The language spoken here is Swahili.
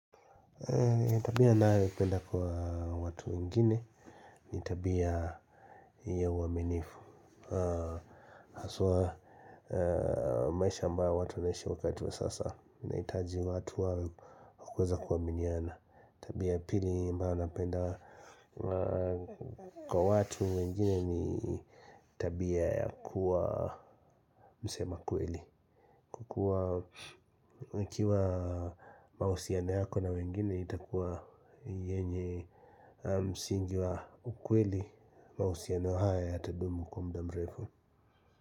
Na tabia nayoipenda kwa watu wengine, ni tabia ya uaminifu. Haswa maisha ambayo watu wanaishi wakati wa sasa, inahitaji watu wa kuweza kuaminiana. Tabia ya pili ambayo napenda kwa watu wengine ni tabia ya kuwa msema kweli. Huwa ikiwa mahusiano yako na wengine itakuwa yenye msingi wa ukweli mahusiano haya yatadumu kwa muda mref.